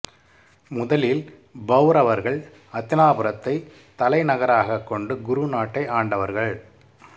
முதலில் பௌரவர்கள் அத்தினாபுரத்தை தலைநகராகக் கொண்டு குரு நாட்டை ஆண்டவர்கள்